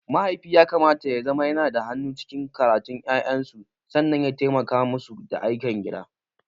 Mahaifi yakamata yazama yanada hannu cikin karatun ƴaƴansu sannan ya taimaka musu da ayyukan gida.